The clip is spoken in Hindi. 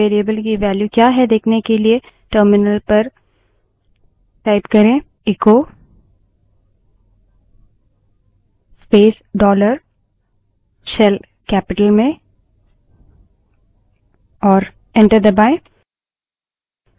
shell variable की value क्या है देखने के लिए echo space dollar shell terminal पर echo space dollar shell capital में type करें और enter दबायें